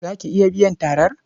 Za ki iya biyan tarar?